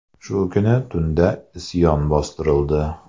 Shu kuni tunda isyon bostirildi.